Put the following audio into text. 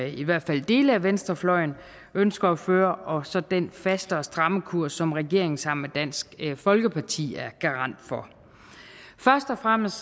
i hvert fald dele af venstrefløjen ønsker at føre og så den faste og stramme kurs som regeringen sammen med dansk folkeparti er garant for først og fremmest